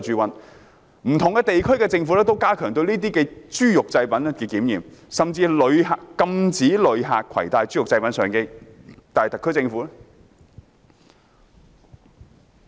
不同地區的政府都加強對豬肉製品的檢驗，甚至禁止旅客攜帶豬肉製品上機，但特區政府怎樣做？